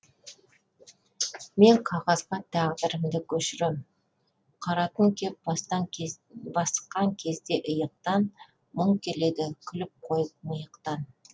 мен қағазға тағдырымды көшірем қара түн кеп басқан кезде иықтан мұң келеді күліп қойып миықтан